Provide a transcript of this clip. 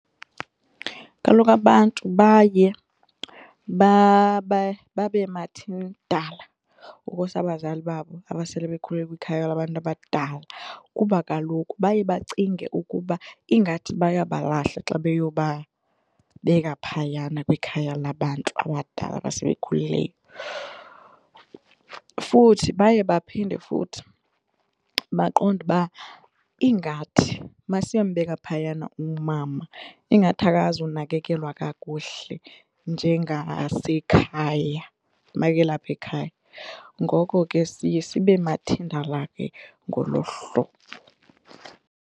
Kaloku abantu baye babe mathindala ngokusa abazali babo aba sele bekhulile kwikhaya labantu abadala kuba kaloku baye bacinge ukuba ingathi bayabalahla xa beyobabeka phayana kwikhaya labantu abadala aba sebekhulile. Futhi baye baphinde futhi baqonde uba ingathi masiyombeka phayana umama ingathi akazunakekelwa kakuhle njengasekhaya makelapha ekhaya. Ngoko ke siye sibe mathindala ke ngolo hlobo.